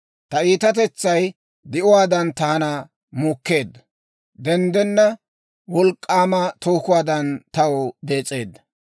Ta iitatetsay di'uwaadan taana muukkeedda; denddenna wolk'k'aama tookuwaadan taw dees'eedda.